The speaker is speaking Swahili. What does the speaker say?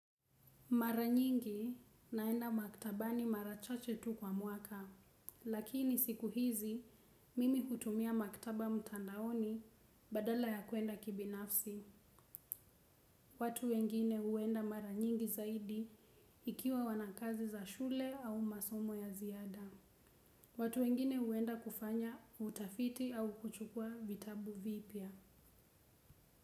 Mara nyingi naenda maktabani mara chache tu kwa mwaka, lakini siku hizi mimi hutumia maktaba mtandaoni badala ya kuenda kibinafsi. Watu wengine huenda mara nyingi zaidi ikiwa wana kazi za shule au masomo ya ziada. Watu wengine huenda kufanya utafiti au kuchukua vitabu vipya.